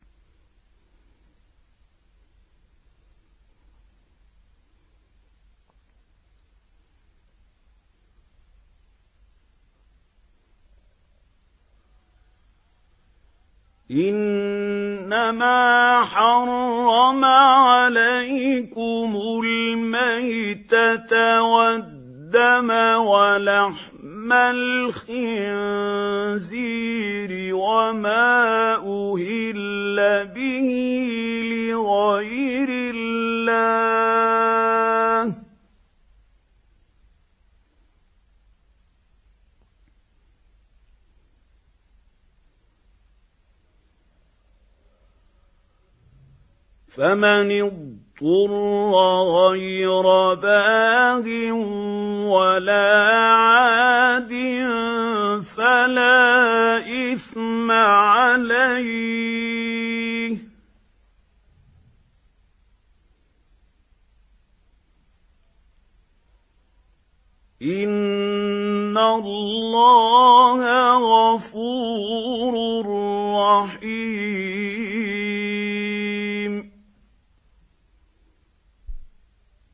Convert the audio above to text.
إِنَّمَا حَرَّمَ عَلَيْكُمُ الْمَيْتَةَ وَالدَّمَ وَلَحْمَ الْخِنزِيرِ وَمَا أُهِلَّ بِهِ لِغَيْرِ اللَّهِ ۖ فَمَنِ اضْطُرَّ غَيْرَ بَاغٍ وَلَا عَادٍ فَلَا إِثْمَ عَلَيْهِ ۚ إِنَّ اللَّهَ غَفُورٌ رَّحِيمٌ